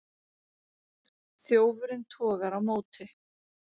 Þjófurinn togar á móti.